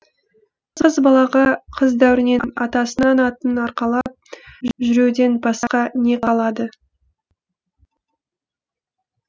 қыз балаға қыз дәуренінен атасының атын арқалап жүруден басқа не қалады